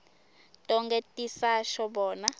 tonkhe tisasho bona